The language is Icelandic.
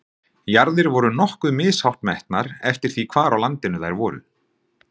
Jarðir voru nokkuð mishátt metnar eftir því hvar á landinu þær voru.